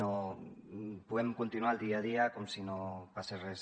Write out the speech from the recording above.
no podem continuar el dia a dia com si no passés res